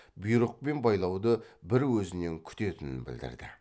бұйрық пен байлауды бір өзінен күтетінін білдірді